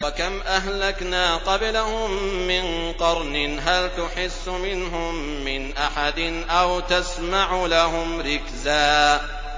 وَكَمْ أَهْلَكْنَا قَبْلَهُم مِّن قَرْنٍ هَلْ تُحِسُّ مِنْهُم مِّنْ أَحَدٍ أَوْ تَسْمَعُ لَهُمْ رِكْزًا